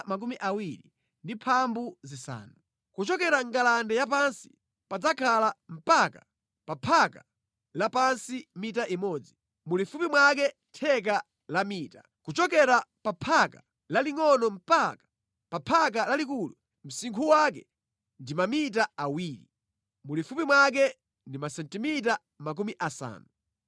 Kuchokera mʼngalande ya pansi padzakhala mpaka pa phaka lapansi mita imodzi, mulifupi mwake theka la mita. Kuchokera pa phaka lalingʼono mpaka pa phaka lalikulu, msinkhu wake ndi mamita awiri, mulifupi mwake ndi masentimita makumi asanu.